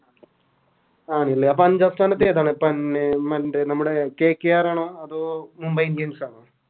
ആണ്ലെ അപ്പൊ അഞ്ചാം സ്ഥാനത്ത് ഏതാ നമ്മുടെ KKR ആണോ അതോ Mumbai indians ആണോ